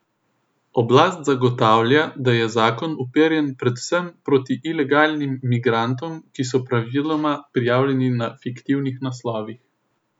Oblast zagotavlja, da je zakon uperjen predvsem proti ilegalnim migrantom, ki so praviloma prijavljeni na fiktivnih naslovih.